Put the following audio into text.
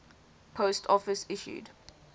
post office issued